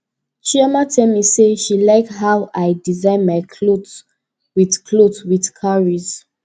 chioma tell me say she like how i design my cloth wit cloth wit cowries